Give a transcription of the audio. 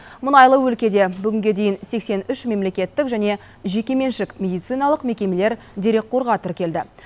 мұнайлы өлкеде бүгінге дейін сексен үш мемлекеттік және жекеменшік медициналық мекемелер дерекқорға тіркелді